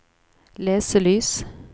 leselys